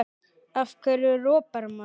Af hverju ropar maður?